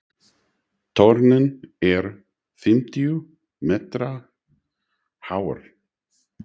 Turninn er fimmtíu metra hár.